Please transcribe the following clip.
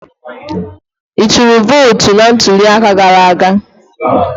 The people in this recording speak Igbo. I tụrụ vootu na ntuli aka gara aga?